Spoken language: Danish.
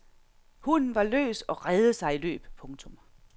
Hunden var løs og reddede sig i løb. punktum